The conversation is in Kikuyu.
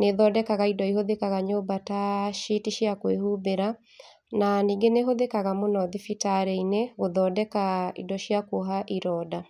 nĩ ĩthondekaga indo ta citi cia kũĩhumbĩra na ningĩ nĩ ĩhũthĩkaga mũno thibitarĩ-inĩ gũthondeka indo cia kuoha ironda.